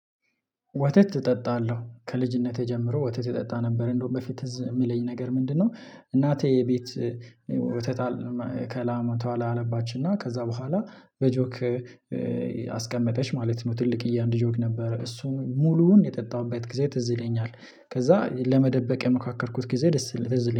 ወተት እጠጣለሁ ከልጅነቴ ጀምሮ ወተት እጠጣ ነበር እንደውም በፊት ፅ የሚለኝ ነገር ምንድነው? እናቴ የቤት ወተጣል ከላመቷላ አለባችን እና ከዛ በኋላ በጆክ አስቀመጠች ማለት ነው። ትልቅ እያንዳንዱ ጆግ ነበረ እሱን ሙሉውን የጠጣሁበት ጊዜ ትዝለኛል። ከዛ ለመደበቅ የመካከልኩት ጊዜ ደስ ይለኛል